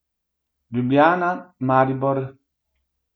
Ljubljana, Maribor.